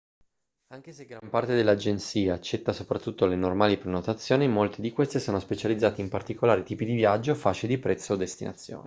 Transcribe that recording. anche se gran parte delle agenzie accetta soprattutto le normali prenotazioni molte di queste sono specializzate in particolari tipi di viaggio fasce di prezzo o destinazioni